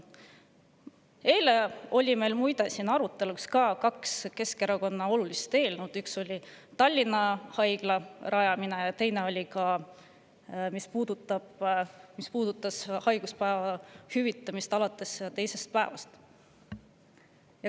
Eile oli meil siin arutelul kaks olulist Keskerakonna eelnõu: üks puudutas Tallinna Haigla rajamist ja teine haiguspäevade hüvitamist alates teisest päevast.